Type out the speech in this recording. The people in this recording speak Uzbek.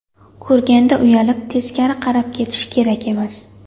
Ko‘rganda uyalib, teskari qarab ketish kerak emas.